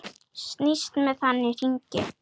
Snýst með hann í hringi.